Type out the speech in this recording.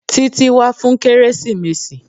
Títí wá fún kérésìmesì.